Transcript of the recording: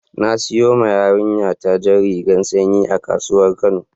Na saƴawa yarinƴa ta jan rigan sanƴi a kasuwar kano.